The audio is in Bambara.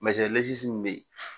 min bɛ yen